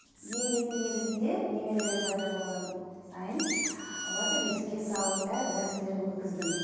мен дейтін негізінде немерелер пайда болған сайын оларды бесікке салып бәрібір рәсемдерін өткіздім